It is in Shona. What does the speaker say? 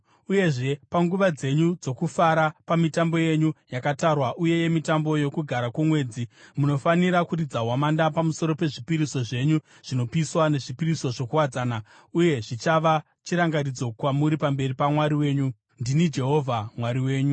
Uyezve, panguva dzenyu dzokufara, pamitambo yenyu yakatarwa uye nemitambo yoKugara kwoMwedzi, munofanira kuridza hwamanda pamusoro pezvipiriso zvenyu zvinopiswa nezvipiriso zvokuwadzana, uye zvichava chirangaridzo kwamuri pamberi paMwari wenyu. Ndini Jehovha Mwari wenyu.”